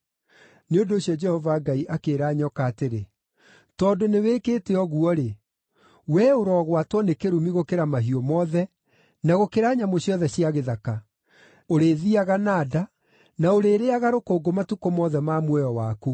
Nĩ ũndũ ũcio Jehova Ngai akĩĩra nyoka atĩrĩ, “Tondũ nĩwĩkĩte ũguo-rĩ, “Wee ũrogwatwo nĩ kĩrumi gũkĩra mahiũ mothe na gũkĩra nyamũ ciothe cia gĩthaka! Ũrĩthiiaga na nda, na ũrĩrĩĩaga rũkũngũ matukũ mothe ma muoyo waku.